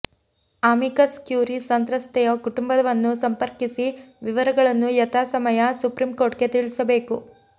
amicus curiae ಸಂತ್ರಸ್ತೆಯ ಕುಟುಂಬವನ್ನು ಸಂಪರ್ಕಿಸಿ ವಿವರಗಳನ್ನು ಯಥಾಸಮಯ ಸುಪ್ರೀಂಕೊರ್ಟಿಗೆ ತಿಳಿಸಬೇಕು